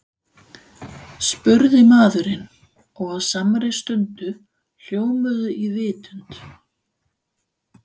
spurði maðurinn og á samri stundu hljómuðu í vitund